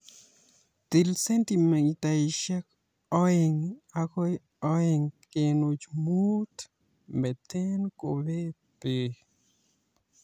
Til sentimitaishek oeng agoi oeng kenuch muut, metee kobet beek